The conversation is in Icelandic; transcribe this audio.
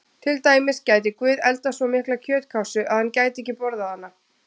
Til dæmis: Gæti Guð eldað svo mikla kjötkássu að hann gæti ekki borðað hana?